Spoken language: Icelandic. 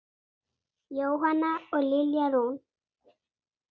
Jóhanna og Lilja Rún.